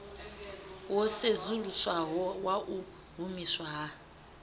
wo sedzuluswaho wau humiswa ha